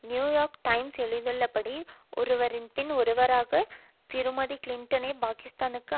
new York Times எழுதியுள்ளபடி ஒருவர்பின் ஒருவராக திருமதி கிளின்டனை பாக்கிஸ்தானுக்கும்